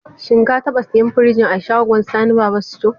Shin ka taɓa siyan firinji a shagon Sani Baba sito?